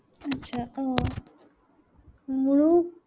আহ মোৰো